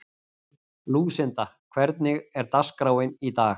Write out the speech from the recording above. Lúsinda, hvernig er dagskráin í dag?